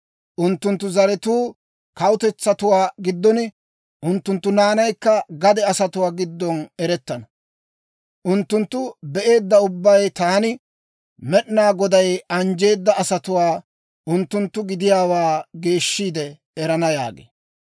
Unttunttu zaratuu kawutetsatuwaa giddon, unttunttu naanaykka gade asatuwaa giddon erettana; unttuntta be'eedda ubbay taani, Med'inaa Goday anjjeedda asatuwaa unttunttu gidiyaawaa geeshshiide erana» yaagee.